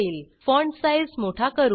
font size मोठा करू